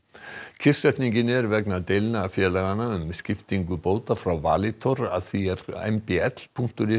kyrrsetningin er vegna deilna félaganna um skiptingu bóta frá Valitor að því er m b l punktur is